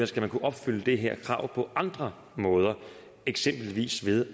skal kunne opfylde det her krav på andre måder eksempelvis ved